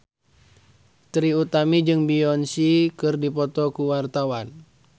Trie Utami jeung Beyonce keur dipoto ku wartawan